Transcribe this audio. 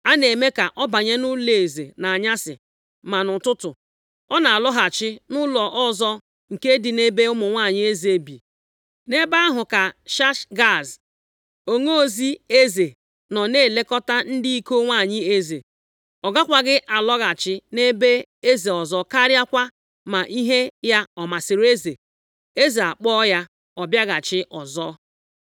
A na-eme ka ọ banye nʼụlọeze nʼanyasị, ma nʼụtụtụ, ọ na-alọghachi nʼụlọ ọzọ nke dị nʼebe ụmụ nwanyị eze bi. Nʼebe ahụ ka Shashgaz, onozi eze nọ na-elekọta ndị iko nwanyị eze. Ọ gakwaghị alọghachi nʼebe eze ọzọ karịakwa ma ihe ya ọ masịrị eze, eze akpọọ ya ka ọ bịaghachi ọzọ.